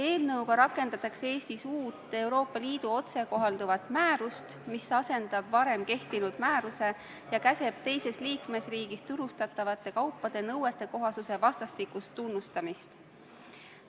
Eelnõuga rakendatakse Eestis uut Euroopa Liidu otsekohalduvat määrust, mis asendab varem kehtinud määruse ja käsitleb teises liikmesriigis turustatavate kaupade nõuetekohasuse vastastikust tunnustamist.